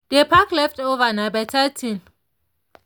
dey pack leftover nah better thing.